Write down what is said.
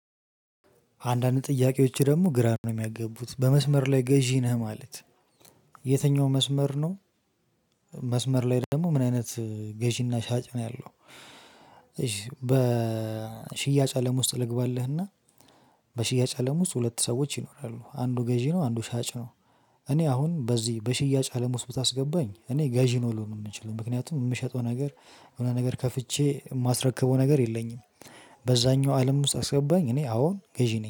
አንዳንድ ጥያቄዎች ደግሞ ግራ ነው የሚያገቡት በመስመር ላይ ገዢ ነህ ማለት የትኛው መስመር ነው መስመር ላይ ደግሞ ምን አይነት ገዢና ሻጭ ነው ያለው እሺ በ ሽያጭ አለም ውስጥ ልግባልህና በሽያጭ አለም ውስጥ ሁለት ሰዎች ይኖራሉ አንዱ ገዢ ነው አንዱ ሻጭ ነው እኔ አሁን በዚህ በሽያጭ አለም ውስጥ ብታስገባኝ እኔ ገዢ ነው ልሆን የምንችለው። ምክንያቱም የምሸጠው ነገር የሆነ ነገር ከፍቼ የማስረከበው ነገር የለኝም በዛኛው አለም ውስጥ አስገባኝ እኔ አዎ ገዢ ነኝ።